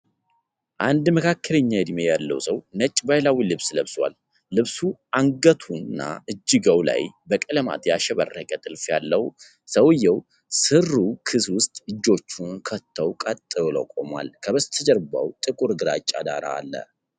አንድ መካከለኛ እድሜ ያለው ሰው ነጭ ባህላዊ ልብስ ለብሷል። ልብሱ አንገቱና እጅጌው ላይ በቀለማት ያሸበረቀ ጥልፍ አለው። ሰውየው ሱሪው ኪስ ውስጥ እጆቹን ከተው ቀጥ ብሎ ቆሟል። ከበስተጀርባው ጥቁር ግራጫ ዳራ አለ።